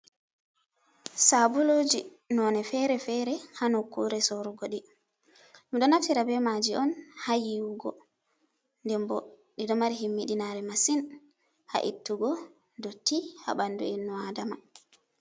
Sabuluji nonde fere-fere hanoƙkure sorugo ɗi ɗum ɗo naftira be maji on ha yiwugo dembo ɗiɗo mari himmi ɗinare masin ha ittugo dotti ha ɓandu enno adama.